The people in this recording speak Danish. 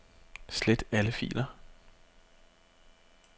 Slet alle filer.